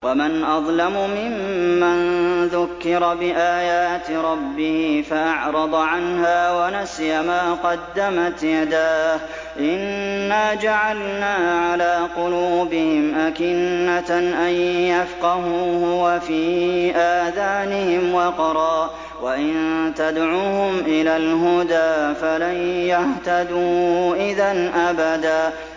وَمَنْ أَظْلَمُ مِمَّن ذُكِّرَ بِآيَاتِ رَبِّهِ فَأَعْرَضَ عَنْهَا وَنَسِيَ مَا قَدَّمَتْ يَدَاهُ ۚ إِنَّا جَعَلْنَا عَلَىٰ قُلُوبِهِمْ أَكِنَّةً أَن يَفْقَهُوهُ وَفِي آذَانِهِمْ وَقْرًا ۖ وَإِن تَدْعُهُمْ إِلَى الْهُدَىٰ فَلَن يَهْتَدُوا إِذًا أَبَدًا